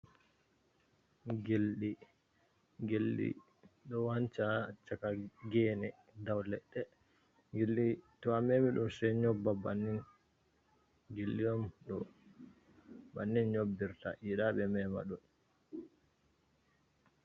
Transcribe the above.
Geldi do wanca chakagene daw ledde. Gilɗi to a mema dom se nyobba bannin, gilliyom do bannin nyobbirta yidabe mema ɗum.